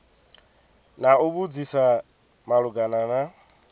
na u vhudzisa malugana na